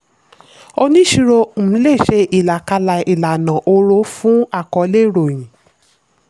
oníṣirò um lè ṣe ìlàkalẹ̀ ìlànà òòró fún àkọọ́lẹ̀ ìròyìn.